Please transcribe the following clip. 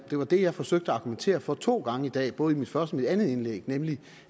det var det jeg forsøgte at argumentere for to gange i dag både i mit første mit andet indlæg nemlig